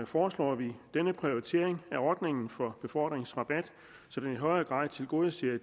foreslår vi denne prioritering af ordningen for befordringsrabat så den i højere grad tilgodeser